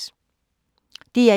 DR1